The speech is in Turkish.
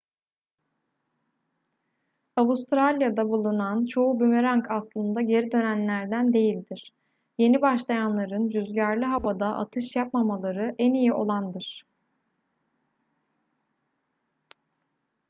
avustralya'da bulunan çoğu bumerang aslında geri dönenlerden değildir yeni başlayanların rüzgarlı havada atış yapmamaları en iyi olandır